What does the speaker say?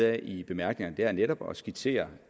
af i bemærkningerne er netop at skitsere